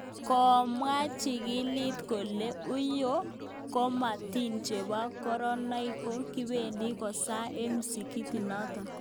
Komwa chikilik kole, uyo kabatik chebo koranotok ko kibeendi kosae eng msikitiit notok